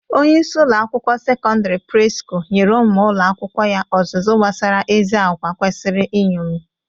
Onyeisi ụlọ akwụkwọ sekondịri Presco nyere ụmụ ụlọ akwụkwọ ya ọzụzụ gbasara ezi agwa kwesiri nñomi.